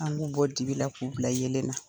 An b'u bɔ dibi la k'u bila yelen na.